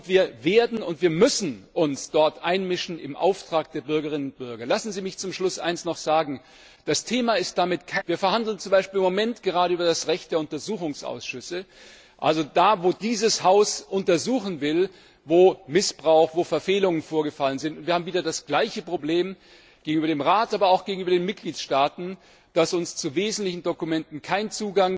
Wir wollen und wir werden und wir müssen uns dort im Auftrag der Bürgerinnen und Bürger einmischen. Lassen Sie mich zum Schluss noch eines sagen Das Thema ist damit keineswegs erledigt. Wir verhandeln zum Beispiel im Moment über das Recht der Untersuchungsausschüsse, da, wo dieses Haus untersuchen will, wo Missbrauch, wo Verfehlungen vorgefallen sind. Und wir haben wieder das gleiche Problem gegenüber dem Rat, aber auch gegenüber den Mitgliedstaaten, dass uns zu wesentlichen Dokumenten